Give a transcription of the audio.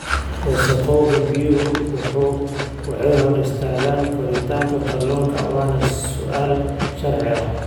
Wasakhowga biyuhu waxay hor istaagaan koritaanka kalluunka waana su'aal sharci ah.